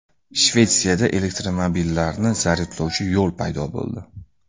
Shvetsiyada elektromobillarni zaryadlovchi yo‘l paydo bo‘ldi.